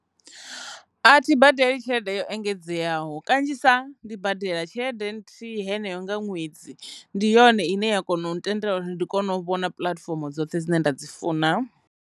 A thi badeli tshelede yo engedzeaho kanzhisa ndi badela tshelede nthihi heneyo nga ṅwedzi ndi yone ine ya kona u ntendela uri ndi kone u vhona puḽatifomo dzoṱhe dzine nda dzi funa.